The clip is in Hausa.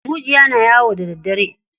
Mujiya na yawo da daddare.